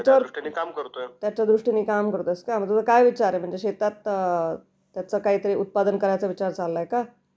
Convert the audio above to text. मग त्या दृष्टींनी काम करतोय.मग तुझा काय विचार आहे? म्हणजे शेतात त्याचं काय उत्पादन करायचा विचार चाललाय का